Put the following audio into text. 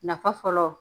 Nafa fɔlɔ